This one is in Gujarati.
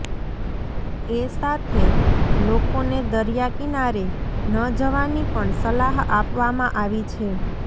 એ સાથે લોકોને દરિયા કિનારે ન જવાની પણ સલાહ આપવામાં આવી છે